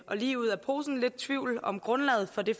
og lige ud af posen lidt i tvivl om grundlaget for det